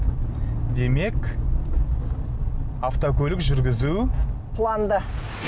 демек автокөлік жүргізу планда